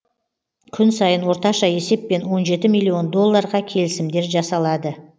күн сайын орташа есеппен он жеті миллион долларға келісімдер жасалады